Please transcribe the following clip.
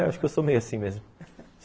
Acho que eu sou meio assim mesmo